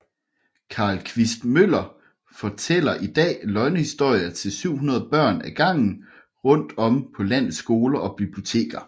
Carl Quist Møller fortæller i dag løgnehistorier til 700 børn ad gangen rundt om på landets skoler og biblioteker